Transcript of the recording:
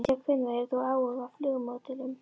Síðan hvenær hefur þú áhuga á flugmódelum?